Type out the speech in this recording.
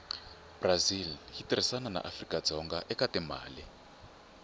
brazil yitirhisana naafrikadzonga ekatimale